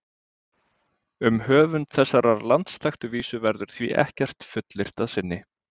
Um höfund þessarar landsþekktu vísu verður því ekkert fullyrt að sinni.